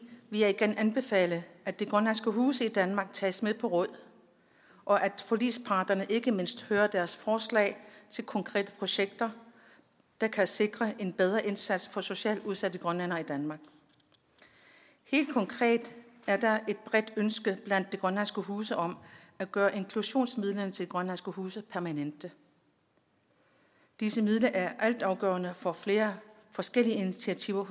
vil jeg igen anbefale at de grønlandske huse i danmark tages med på råd og at forligsparterne ikke mindst hører deres forslag til konkrete projekter der kan sikre en bedre indsats for socialt udsatte grønlændere i danmark helt konkret er der et bredt ønske blandt de grønlandske huse om at gøre inklusionsmidlerne til de grønlandske huse permanente disse midler er altafgørende for flere forskellige initiativer